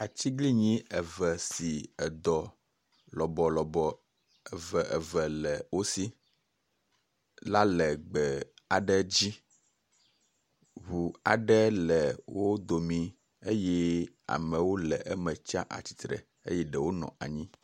Atiglinyi eve si edɔ lɔbɔlɔbɔ eveeve le wo si la le gbe aɖe dzi. Ŋu aɖe le wo domii eye amewo le eme tsi atsitre eye ɖewo nɔ anyi.